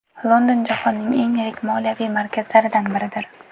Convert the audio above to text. London jahonning eng yirik moliyaviy markazlaridan biridir.